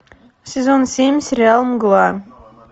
сезон семь сериал мгла